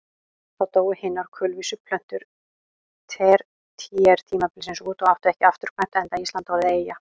Þá dóu hinar kulvísu plöntur tertíertímabilsins út og áttu ekki afturkvæmt enda Ísland orðið eyja.